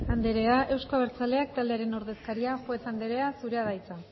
andrea euzko abertzaleak taldearen ordezkaria juez andrea zurea da hitza